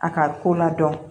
A ka ko ladɔn